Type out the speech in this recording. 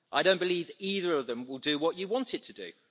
I don't believe either of them will do what you want it to do.